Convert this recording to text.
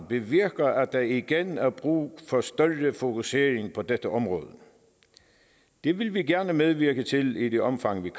bevirker at der igen er brug for større fokusering på dette område det vil vi gerne medvirke til i det omfang vi